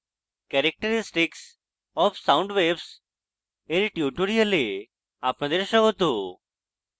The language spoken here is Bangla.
characteristics of sound waves এর tutorial আপনাদের স্বাগত